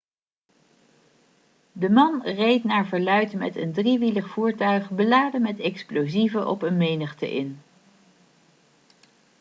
de man reed naar verluid met een driewielig voertuig beladen met explosieven op een menigte in